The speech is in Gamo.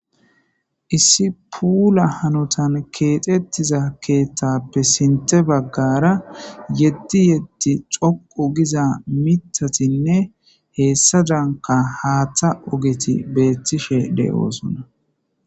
Issi puula hanotan keexettiza keeththappe sinte baggara yeddi yeddi xoqou giza mitatinne heessa danka haaththa ogeti beettishe de7oosonna.